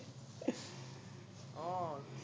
আহ